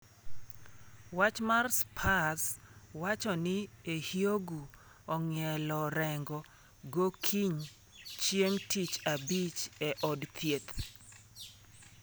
Wach mar Spurs wacho ni Ehiogu nong'ielo rengo gokiny chieng tich Abich e od thieth.